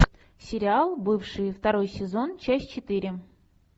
сериал бывшие второй сезон часть четыре